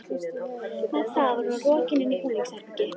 Með það var hún rokin inn í búningsherbergi.